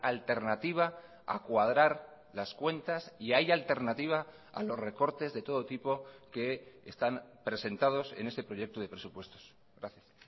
alternativa a cuadrar las cuentas y hay alternativa a los recortes de todo tipo que están presentados en este proyecto de presupuestos gracias